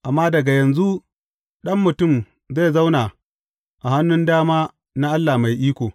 Amma daga yanzu, Ɗan Mutum zai zauna a hannun dama na Allah Mai Iko.